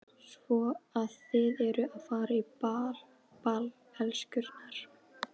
Svo að þið eruð að fara á ball, elskurnar?